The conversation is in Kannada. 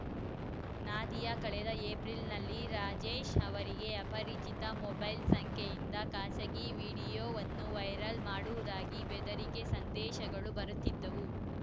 ನಾದಿಯಾ ಕಳೆದ ಏಪ್ರಿಲ್‌ನಲ್ಲಿ ರಾಜೇಶ್‌ ಅವರಿಗೆ ಅಪರಿಚಿತ ಮೊಬೈಲ್‌ ಸಂಖ್ಯೆಯಿಂದ ಖಾಸಗಿ ವಿಡಿಯೋವನ್ನು ವೈರಲ್‌ ಮಾಡುವುದಾಗಿ ಬೆದರಿಕೆ ಸಂದೇಶಗಳು ಬರುತ್ತಿದ್ದವು